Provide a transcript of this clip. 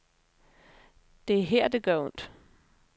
Det er her det gør ondt.